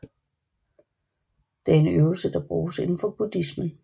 Det er en øvelse der bruges indenfor buddhismen